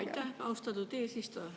Aitäh, austatud eesistuja!